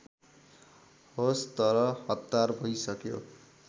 हवस् त हतार भइसक्यो